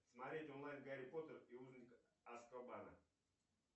смотреть онлайн гарри поттер и узник азкабана